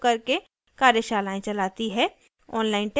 spoken tutorials का उपयोग करके कार्यशालाएं चलाती है